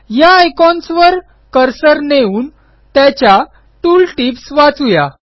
या आयकॉन्सवर कर्सर नेऊन त्याच्या टूल टिप्स वाचू या